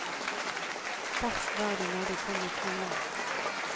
Verst var det når de kom med kvinner.